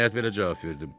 Nəhayət belə cavab verdim.